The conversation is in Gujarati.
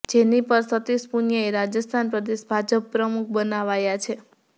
જેની પર સતિષ પુનિયાને રાજસ્થાન પ્રદેશ ભાજપ પ્રમુખ બનાવાયા છે